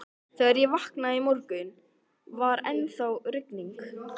Þegar ég vaknaði í morgun, var ennþá rigning.